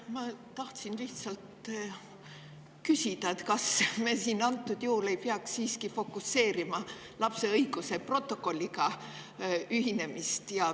Ma tahtsin küsida, et kas me ei peaks antud juhul siiski fokuseerima lapse õiguste protokolliga ühinemisele.